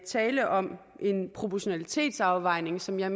tale om en proportionalitetsafvejning som jeg